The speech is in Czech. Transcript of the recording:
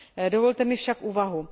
Dovolte mi však úvahu.